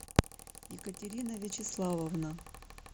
екатерина вячеславовна